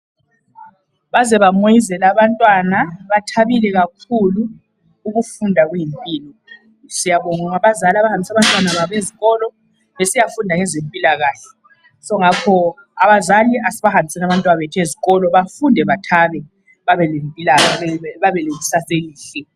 Baze bamoyizela abantwana. Bathabile kakhulu. Ukufunda kuyimpilo. Siyabonga abazali abahambisa bantwana babo ezikolo besiyafunda ngezempilakahle. So ngakho, abazali asibahambiseni abantwabethu ezikolo bafunde bathabe babe lekusasa elihle.